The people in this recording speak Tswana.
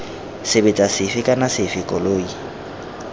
sebetsa sefe kana sefe koloi